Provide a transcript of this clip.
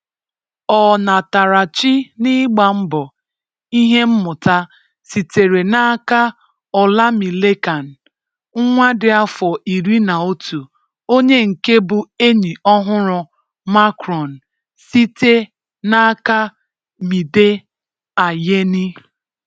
ọnatarachi n'ịgba mbọ ihe mmụta sitere n'aka Olamilekan, nwa dị afọ iri na otu onye nke bụ enyi ọhụrụ Macron site n'aka Mide Ayeni